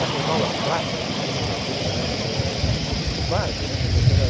Essas aulas práticas que você vai tendo né eh, são uma bobagem né. Mas você vai